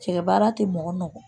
Cɛ baara tɛ mɔgɔ nɔ